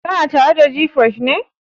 Kana tare da gfresh ne?